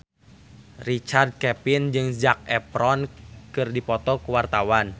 Richard Kevin jeung Zac Efron keur dipoto ku wartawan